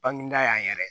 Bangeda yan yɛrɛ